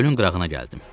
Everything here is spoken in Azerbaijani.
Gölün qırağına gəldim.